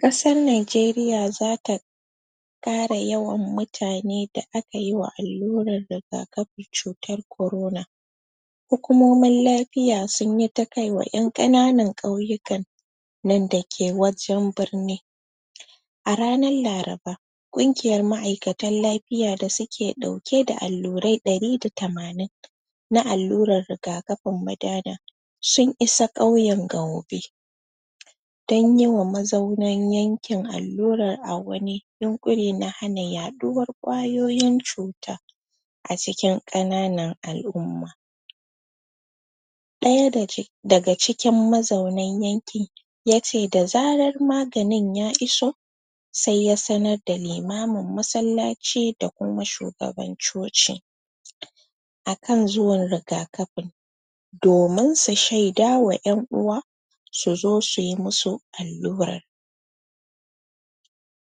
ƙasar nigeria zata ƙara yawan mutane da aka yiwa allurar rigakafin cutar corona hukomomin lafiya sunyi ta kaiwa ƴan ƙananan kyauyika nan dake wajen birni a ranar laraba ƙungiyar ma'aikatan lafiya da suke ɗauke da allurai ɗari da tamanin na allurar rigakafin madana sun isa ƙyauyen gaube dan yiwa mazaunan yankin allurar a wani yuƙure na hana yaɗuwar ƙwayoyin cuta a cikin ƙananan al'umma ɗaya dake daga cikin mazaunan yankin yace da zarar maganin ya iso se ya sanar da limamin masallaci da kuma shugaban coci akan zuwan rigakafin domin su shaidawa ƴan uwa suzo suyi musu allurar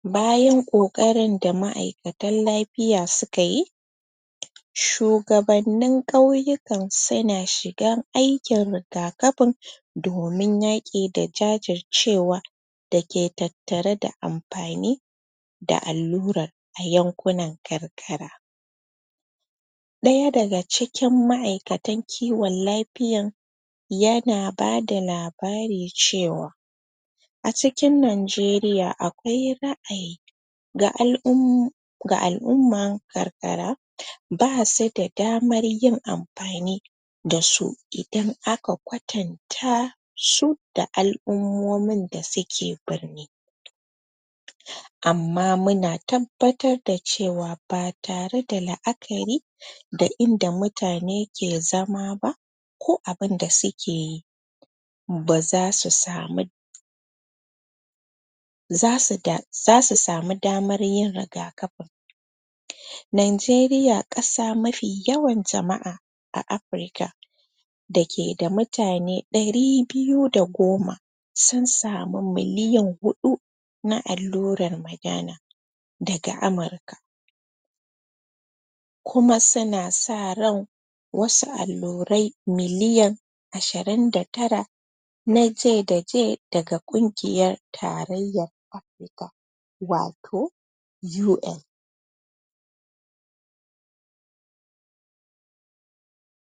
bayan ƙoƙarin da ma'aikata lafiya sukayi sugabannin yauyikan suna shiga aikin rigakafin domin yaƙi da jajircewa dake tattare da amfani da allurar a yankunan karkara ɗaya daga cikin ma'aikatan kiwon lafiyan yana bada labari cewa a cikin ningeriya akwai ra'ayi um ga al'ummar karkara basu da damar yin amfani dasu idan aka kwatanta su da al'ummomin da suke birni amma muna tabbatar da cewa ba tare da la'akari da inda mutane ke zama ba ko abinda suke yi baza su samu zasu samu damar yin rigakafin ninjeriya ƙasa mafi yawan jama'a a afrika da ke da mutane ɗari biyu da goma sun samu miliyan huɗu na allurar madana daga amurka kuma suna sa ran wasu allurai miliyan ashirin da tara na J da j daga ƙungiyan tarayyan amurka wato UN